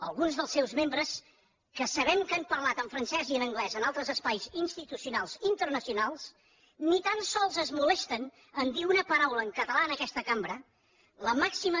alguns dels seus membres que sabem que han parlat en francès i en anglès en altres espais institucionals internacionals ni tan sols es molesten a dir una paraula en català en aquesta cambra la màxima